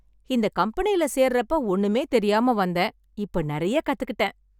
இந்த கம்பெனியில சேர்றப்ப ஒண்ணுமே தெரியாம வந்தேன், இப்ப நெறைய கத்துக்கிட்டேன்.